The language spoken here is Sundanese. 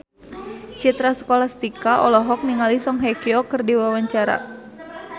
Citra Scholastika olohok ningali Song Hye Kyo keur diwawancara